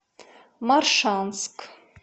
моршанск